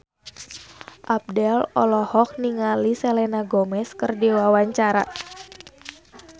Abdel olohok ningali Selena Gomez keur diwawancara